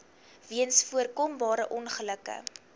weens voorkombare ongelukke